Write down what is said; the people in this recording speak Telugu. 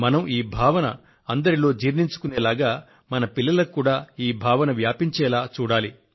మనం ఈ భావన మనందరిలో జీర్ణించుకొనేటట్లు మన పిల్లలలోనూ ఈ భావన వ్యాపించేలాగా చూడాలి